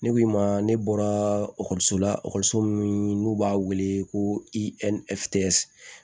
Ne ko i ma ne bɔra so la ekɔliso min n'u b'a wele ko i bɛ